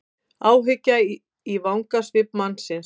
Áhyggja í vangasvip mannsins.